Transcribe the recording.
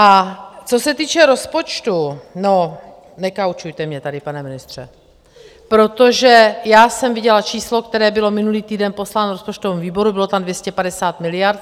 A co se týče rozpočtu, no... ... nekoučujte mě tady, pane ministře, protože já jsem viděla číslo, které bylo minulý týden posláno rozpočtovému výboru, bylo tam 250 miliard.